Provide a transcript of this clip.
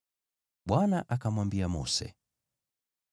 Bwana akamwambia Mose,